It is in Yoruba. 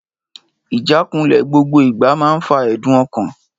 Ìjánikulè gbogbo ìgbà man fa ẹ̀dùn ọkàn l